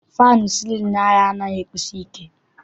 Faanụ sịlịnụ anyị anaghị ekusi ike.